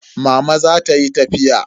Mama za ta yi tafiya.